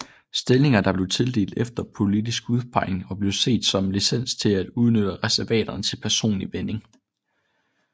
Stillinger dèr blev tildelt efter politisk udpegning og blev set som licens til at udnytte reservaterne til personlig vinding